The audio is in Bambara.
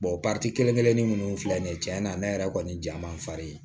kelen kelennin munnu filɛ nin ye cɛn na ne yɛrɛ kɔni ja man n fari ye